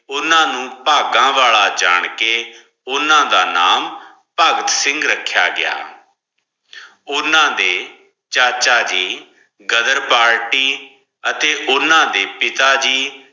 ਓਨਾ ਨੂ ਪਘਾ ਵਾਲਾ ਜਾਨ ਕੇ ਓਨਾ ਦਾ ਨਾਮ ਪਗ ਸਿਗਨ ਰਖ੍ਯਾ ਗਿਆ ਓਨਾ ਦੇ ਚਾਚਾ ਜੀ ਘਜ਼ਰ ਪਾਰਟੀ ਹਟੀ ਓਨ ਦੇ ਪਿਤਾ ਜੀ